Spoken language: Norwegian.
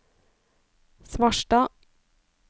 Svarstad